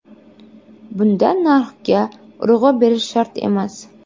Bunda narxga urg‘u berish shart emas.